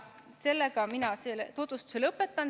Sellega mina tutvustuse lõpetan.